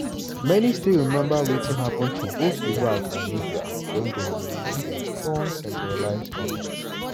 many still remember wetin happun to both iraq and libya wen dem remove dia strong centralised goment.